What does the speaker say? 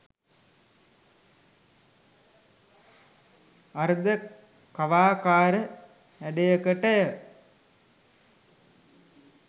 අර්ධ කවාකාර හැඩයකටය.